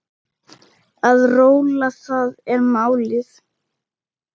Að róla, það er málið.